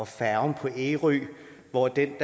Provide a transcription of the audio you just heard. færgen på ærø hvor dem